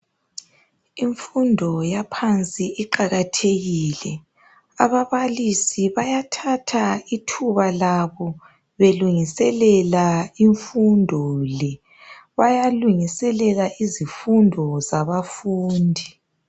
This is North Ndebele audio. Imfundo yaphansi iqakathekile. Ababalisi bayathatha ithuba labo belungiselela imfundo le. Bayalungiselela izifundo zabafundi.